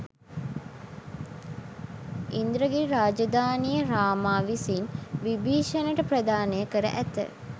ඉන්ද්‍රගිරි රාජධානිය රාමා විසින් විභිශණට ප්‍රධානය කර ඇත